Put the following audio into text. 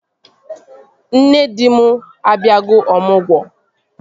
Nne di m abịago ọmụgwọ